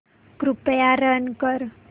कृपया रन कर